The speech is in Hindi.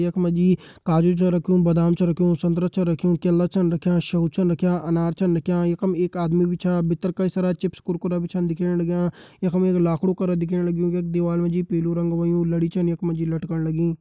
यख मा जी काजू छ रख्युं बादाम छ रख्युं संतरा छ रख्युं केला छन रख्यां सेब छन रख्यां अनार चं रख्यां यखम एक आदमी भी छा भितर कई सारा चिप्स कुरकुरा भी छन दिखेण लग्यां यखम एक लाखड़ु करा दिखेण लग्युं यख दीवाल मा जी पीलू रंग होयुं लड़ी छन यख मा जी लटकन लगीं।